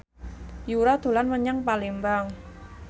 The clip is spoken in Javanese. Yura dolan menyang Palembang